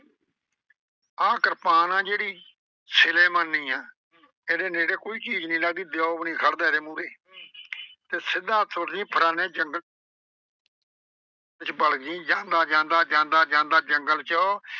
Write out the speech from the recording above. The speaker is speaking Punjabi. ਆਹ ਕਿਰਪਾਨ ਆ ਜਿਹੜੀ ਸਿਰੇਮਾਨੀ ਏ। ਇਹਦੇ ਨੇੜੇ ਕੋਈ ਵੀ ਚੀਜ਼ ਨਈਂ ਲੱਗਦੀ। ਦਿਓ ਵੀ ਨੀ ਖੜਦਾ ਇਹਦੇ ਮੂਹਰੇ ਤੇ ਸਿੱਧਾ ਤੁਰ ਜਾਈਂ ਫਲਾਣੇ ਜੰਗਲ ਵਿੱਚ ਵੜ ਜਾਈਂ। ਜਾਂਦਾ ਜਾਂਦਾ ਜਾਂਦਾ ਜਾਂਦਾ ਜੰਗਲ ਚ।